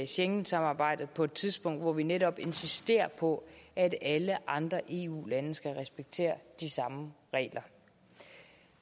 schengensamarbejdet på et tidspunkt hvor vi netop insisterer på at alle andre eu lande skal respektere de samme regler